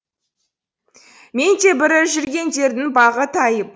мен де бірі жүргендердің бағы тайып